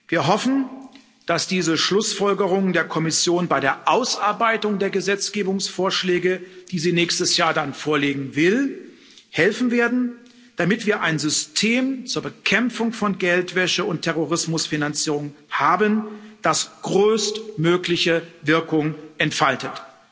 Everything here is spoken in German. Wir hoffen, dass diese Schlussfolgerungen der Kommission bei der Ausarbeitung der Gesetzgebungsvorschläge, die sie nächstes Jahr dann vorlegen will, helfen werden, damit wir ein System zur Bekämpfung von Geldwäsche und Terrorismusfinanzierung haben, das größtmögliche Wirkung entfaltet.